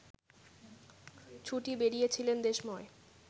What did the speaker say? ছুটে বেড়িয়েছিলেন দেশময়